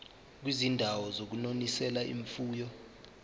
kwizindawo zokunonisela imfuyo